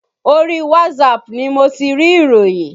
Orí whatsapp ni mo ti rí ìròyìn